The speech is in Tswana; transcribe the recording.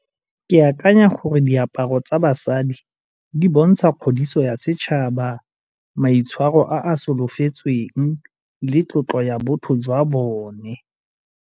Ke akanya gore diaparo tsa basadi di bontsha kgodiso ya setšhaba, maitshwaro a a solofetsweng le tlotlo ya botho jwa bone.